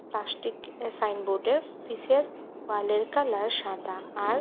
plastic এ সাইনবোর্ডের পিছে ওয়ালের কালার সাদা আর--